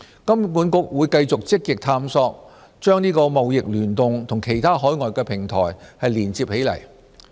金管局會繼續積極探索把"貿易聯動"和其他海外平台連接起來。